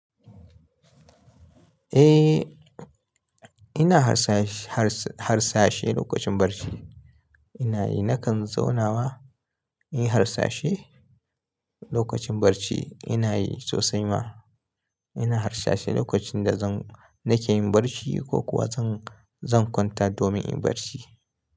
Eh, ina harsa-harsa-harsashe lokacin bacci. Ina yi, nakan zaunawa inyi harsashe lokacin bacci. Ina yi sosai ma. Ina harsashe lokacin da zan, nake yin bacci ko kuwa zan, zan kwanta domin in barci.